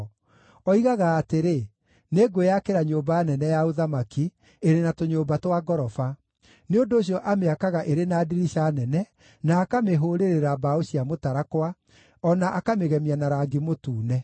Oigaga atĩrĩ, ‘Nĩngwĩyakĩra nyũmba nene ya ũthamaki, ĩrĩ na tũnyũmba twa ngoroba.’ Nĩ ũndũ ũcio amĩakaga ĩrĩ na ndirica nene, na akamĩhũũrĩrĩra mbaũ cia mũtarakwa, o na akamĩgemia na rangi mũtune.